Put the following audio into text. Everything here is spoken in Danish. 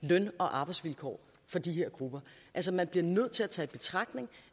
løn og arbejdsvilkår for de her grupper altså man bliver nødt til at tage i betragtning